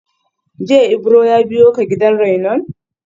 Jiya Ibro ya biyo ka gidan rainon?